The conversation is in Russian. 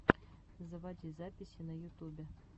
заводи записи на ютубе